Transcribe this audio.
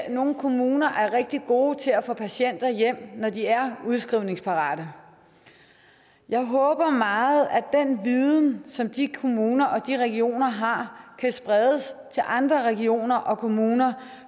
at nogle kommuner er rigtig gode til at få patienter hjem når de er udskrivningsparate jeg håber meget at den viden som de kommuner og de regioner har kan spredes til andre regioner og kommuner